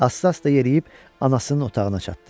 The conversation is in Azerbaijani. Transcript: Asta-asta yeriyib anasının otağına çatdı.